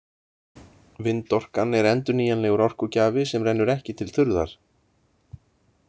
Vindorkan er endurnýjanlegur orkugjafi sem rennur ekki til þurrðar.